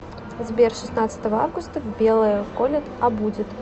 сбер шестнадцатого августа в белое колет а будет